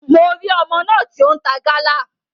Mo ri ọmọ náà ti o n ta Gala.